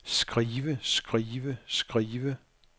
skrive skrive skrive